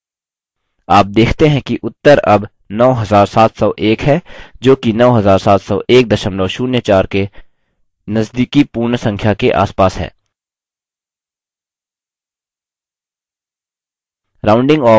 आप देखते हैं कि उत्तर अब 9701 है जोकि 970104 के नजदीकी पूर्ण संख्या के आसपास है